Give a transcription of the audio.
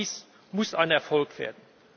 Paris muss ein Erfolg werden!